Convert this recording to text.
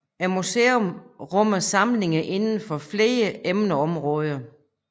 Museet rummer samlinger inden for flere emneområder